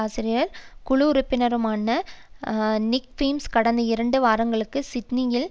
ஆசிரியர் குழு உறுப்பினருமான நிக் பீம்ஸ் கடந்த இரண்டு வாரங்களில் சிட்னியிலும்